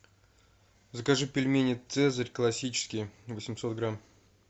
закажи пельмени цезарь классические восемьсот грамм